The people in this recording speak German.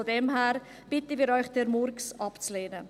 Von daher bitten wir Sie, diesen Murks abzulehnen.